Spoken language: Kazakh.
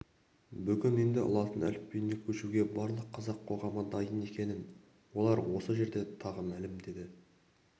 бүгін енді латын әліпбиіне көшуге барлық қазақ қоғамы дайын екенін олар осы жерде тағы мәлімдеді